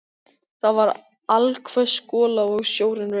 Það var allhvöss gola og sjórinn rauk.